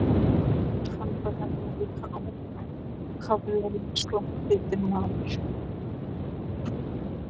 Hann var nefnilega líka ákaflega sorgbitinn maður.